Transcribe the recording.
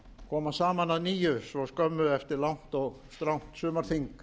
koma saman að nýju svo skömmu eftir langt og strangt sumarþing